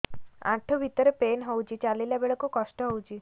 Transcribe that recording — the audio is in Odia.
ଆଣ୍ଠୁ ଭିତରେ ପେନ୍ ହଉଚି ଚାଲିଲା ବେଳକୁ କଷ୍ଟ ହଉଚି